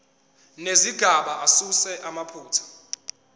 nezigaba asuse amaphutha